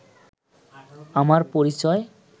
আমার পরিচয়